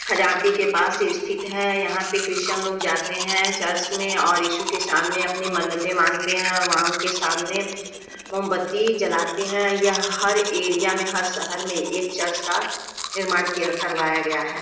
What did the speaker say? ख्जानती के पास ये स्थित है। यहाँ पे क्रिस्टियन लोग जाते हैं चर्च में और इशु के सामने अपनी मन्नते मांगते हैं और वहाँ उनके सामने मोमबती जलाते हैं। यह हर एरिया में हर शहर में एक चर्च का निर्माण किया करवाया गया हैं।